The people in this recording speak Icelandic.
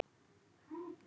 Ari Reynir.